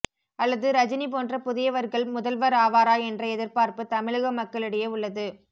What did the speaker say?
அல்லது ரஜினி போன்ற புதியவர்கள் முதல்வர் ஆவாரா என்ற எதிர்பார்ப்பு தமிழக மக்களிடையே உள்ளது